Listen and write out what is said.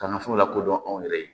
K'an ka furu lakodɔn anw yɛrɛ ye